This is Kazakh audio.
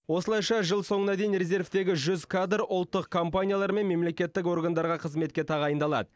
осылайша жыл соңына дейін резервтегі жүз кадр ұлттық компаниялар мен мемлекеттік органдарға қызметке тағайындалады